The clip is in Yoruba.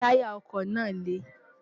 táyà ọkọ̀ náà le